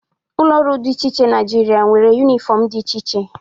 Ụlọ ọrụ dị iche Naịjirịa nwere yunifọmụ dị iche iche.